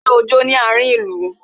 Ṣé o jó ní àárin ìlú?